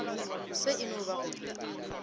se e no ba go